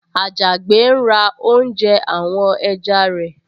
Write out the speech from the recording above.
Àjàgbé ń ra oúnjẹ àwọn ẹja rẹ̀